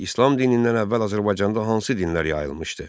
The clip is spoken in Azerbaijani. İslam dinindən əvvəl Azərbaycanda hansı dinlər yayılmışdı?